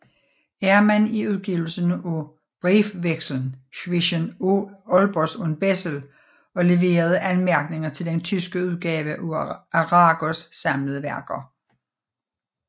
Ermann i udgivelsen af Briefwechsel zwischen Olbers und Bessel og leverede anmærkninger til den tyske udgave af Aragos samlede værker